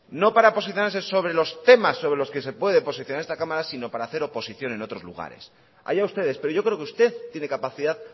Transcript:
no para posicionarse sobre los temas sobre los que se puede posicionar esta cámara sino para hacer oposición en otros lugares allá ustedes pero yo creo que usted tiene capacidad